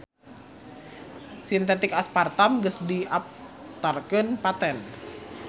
Sintetik aspartam geus didaptarkeun paten.